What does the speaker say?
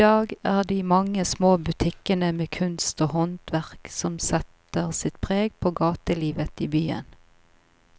I dag er det de mange små butikkene med kunst og håndverk som setter sitt preg på gatelivet i byen.